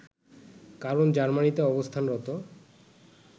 কারণ জার্মানিতে অবস্থানরত